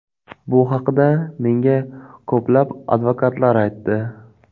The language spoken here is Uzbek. Bu haqida menga ko‘plab advokatlar aytdi.